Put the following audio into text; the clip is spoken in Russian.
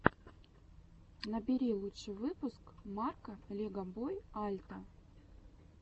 набери лучший выпуск марка легобой альта